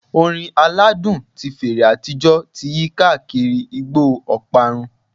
Orin aladun ti fèrè atijọ ti yi kaakiri igbo oparun